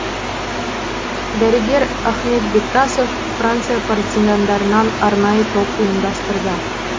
дәрігер ахмет бектасов франция партизандарынан арнайы топ ұйымдастырды